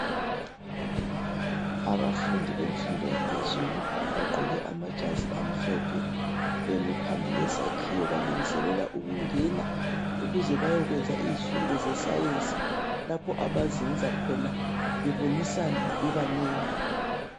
Abafundi bemfundo yaphezulu, bagqoke amajazi amhlophe. Bemi phambi kwesakhiwo. Balungiselela ukungena bayekwenza izifundo zeScience. Lapho abazenza khona. Bebonisana, bebanengi.